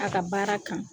A ka baara kan